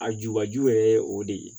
A jubaju yɛrɛ ye o de ye